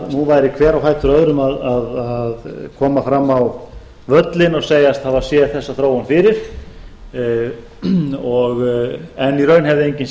nú væri hver á fætur öðrum að koma fram á völlinn og segjast hafa séð þessa þróun fyrir en í raun hefði enginn